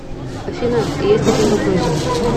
афина есть один вопросик